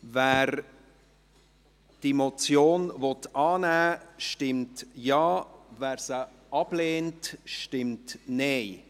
Wer diese Motion annehmen will, stimmt Ja, wer diese ablehnt, stimmt Nein.